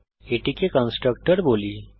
এটিকে কন্সট্রাকটর বলি